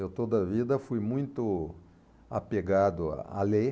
Eu toda vida fui muito apegado a ler.